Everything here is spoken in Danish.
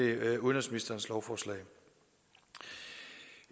udenrigsministerens lovforslag